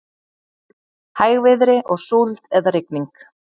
Hægviðri og súld eða rigning